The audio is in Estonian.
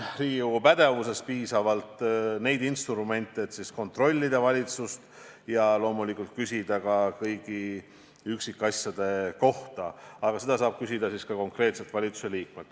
Riigikogu pädevuses on piisavalt instrumente, et kontrollida valitsust ja loomulikult küsida kõigi üksikasjade kohta, aga neid saab küsida ka konkreetselt valitsusliikmelt.